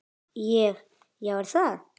Ég: Já er það?